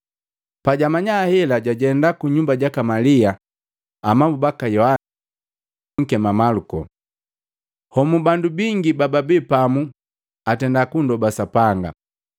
Pajamanya hela jwajenda kunyumba jaka Malia amabu baka Yohana jobunkema Maluko. Homu bandu bingi babi pamu atenda kunndoba Sapanga.